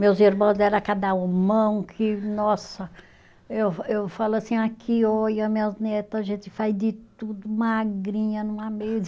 Meus irmãos era cada homão, que, nossa, eu eu falo assim, aqui, olha, minhas neta, a gente faz de tudo, magrinha numa